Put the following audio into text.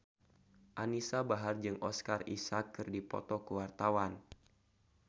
Anisa Bahar jeung Oscar Isaac keur dipoto ku wartawan